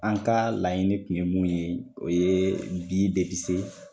An ka laɲini kun ye mun ye o ye bi de bi se